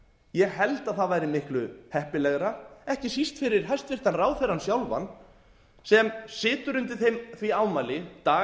ég held að það væri miklu heppilegra ekki síst fyrir hæstvirtan ráðherrann sjálfan sem situr undir því ámæli dag